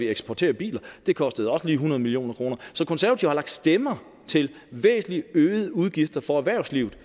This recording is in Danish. eksporterer biler det kostede også lige hundrede million kroner så konservative har lagt stemmer til væsentlig øgede udgifter for erhvervslivet